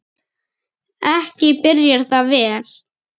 Ekki byrjar það vel!